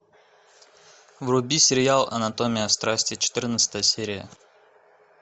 вруби сериал анатомия страсти четырнадцатая серия